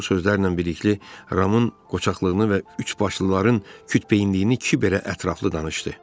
Bu sözlərlə birlikdə Ramın qoçaqlığını və üçbaşlıların kütbeyinliyini Kiber belə ətraflı danışdı.